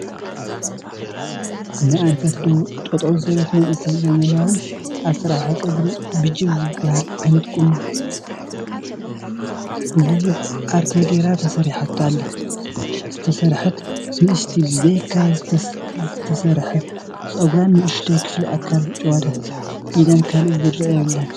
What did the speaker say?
ንኣንፈት ደቡብ ጠጠው ዝበለት መንእይ ዘመናዊ አሰራርሓ ፀጉሪ ብጀብ ዝብሃል ዓይነት ቁና ብብዙሕ ኣርቴ ገይራ ተሰሪሓቶ ኣላ፡፡ ዝተሰርሐት ንእሽቲ ብዘይካ ዝተሰርሐ ፀጉርን ንኡሽተይ ክፍሊ ኣካል ጭዋዳ ኢዳን ካሊእ ዝረአ የብላን፡፡